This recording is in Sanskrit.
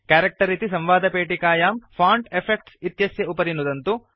कैरेक्टर् इति संवादपेटिकायां फोंट इफेक्ट्स् इत्येतस्य उपरि नुदन्तु